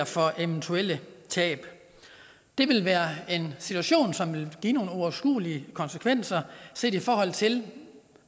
for eventuelle tab det ville være en situation som ville give nogle uoverskuelige konsekvenser set i forhold til